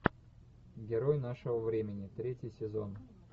герой нашего времени третий сезон